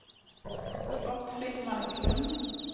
Gottfrid Marklund